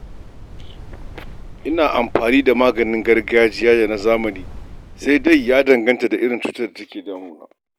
Ina amfani da maganin gargajiya da na zamani, sai dai ya danganta da irin cutar da take damu na.